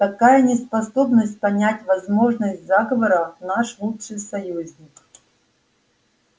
такая неспособность понять возможность заговора наш лучший союзник